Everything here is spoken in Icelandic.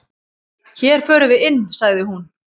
"""Hér förum við inn, sagði hún."""